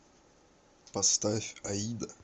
поставь аида